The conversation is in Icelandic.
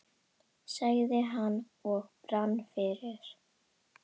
sagði hann og brann fyrir.